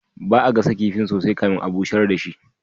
Ba'a gasa kifin sosai kafin a busher dashi ba.